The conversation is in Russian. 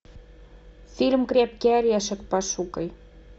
фильм крепкий орешек пошукай